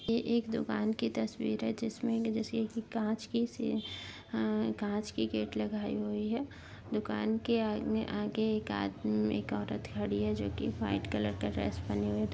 यह एक दुकान की तस्वीर है जिसमें काँच की सीसी आ काँच की गेट लगायी हुई है। दुकान के आगे एक आदमी-एक- औरत खड़ी है जोकि वाइट कलर का ड्रेस पहनी हुई है।